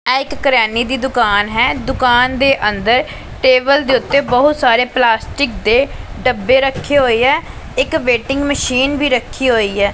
ਇਹ ਇਕ ਕਰਿਆਨੇ ਦੀ ਦੁਕਾਨ ਹੈ ਦੁਕਾਨ ਦੇ ਅੰਦਰ ਟੇਬਲ ਦੇ ਉੱਤੇ ਬਹੁਤ ਸਾਰੇ ਪਲਾਸਟਿਕ ਦੇ ਡੱਬੇ ਰੱਖੇ ਹੋਏ ਐ ਇੱਕ ਵੇਟਿੰਗ ਮਸ਼ੀਨ ਵੀ ਰੱਖੀ ਹੋਈ ਹੈ।